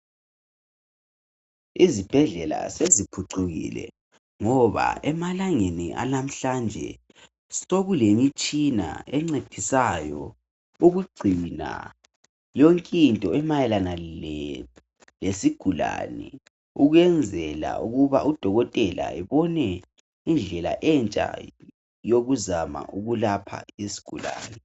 Izibhedlela seziphucukile ngoba emalangeni alamhlanje sokulemitshina encedisayo ukugcina yonk' into emayelana lesigulane ukwenzela ukuba udokotela ebone indlela entsha yokuzama ukulapha isgulane.